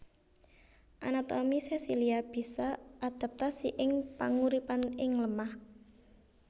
Anatomi sesilia bisa adaptasi ing panguripan ing lemah